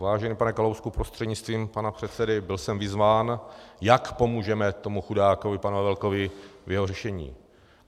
Vážený pane Kalousku prostřednictvím pana předsedy, byl jsem vyzván, jak pomůžeme tomu chudákovi panu Havelekovi v jeho řešení.